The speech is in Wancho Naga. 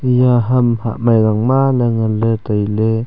iya ham hamai yangma ley nganley tailey.